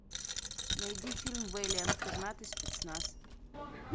найди фильм вэлиант пернатый спецназ